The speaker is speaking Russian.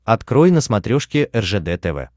открой на смотрешке ржд тв